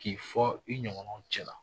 K'i fɔ i ɲɔgɔnaw cɛla .